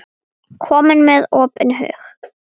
Komið með opinn hug.